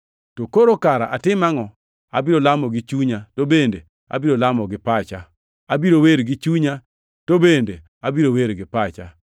To koro kara atim angʼo? Abiro lamo gi chunya, to bende abiro lamo gi pacha, abiro wer gi chunya, to bende abiro wer gi pacha.